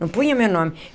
Não punha o meu nome.